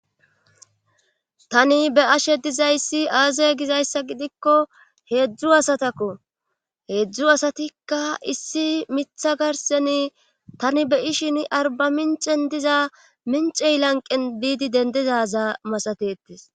tani be'ashe dizayssi aazaya gizayssa gidikko heedzdzu asatakko heedzdzu asatikka issi mitha garseni tani beyishin arba mincen diza mincey lanqen biidi dendizaza masatetes